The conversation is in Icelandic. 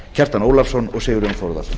kjartan ólafsson og sigurjón þórðarson